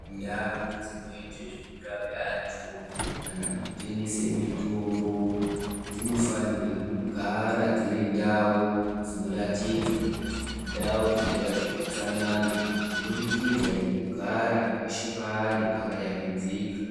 Ndau dzinoite zveku rape antu kana kutengese mitombo dzino fanirwe kugara dziri ndau dzino ratidza kuti indau dzinoita zve utsanana kubudikidza neku gara peshe paari paka yambidzika.